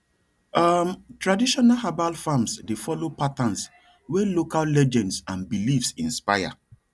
um traditional herbal farms dey follow patterns wey local legends and beliefs inspire